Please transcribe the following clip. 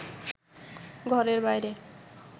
ঘরের বাইরে